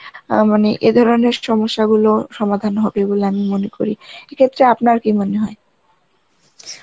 আ মানে এ ধরনের, সমস্যা গুলোর সমাধান হবে বলে আমি মনে করি, এক্ষেত্রে আপনার কি মনে হয়?